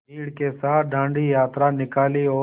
भीड़ के साथ डांडी यात्रा निकाली और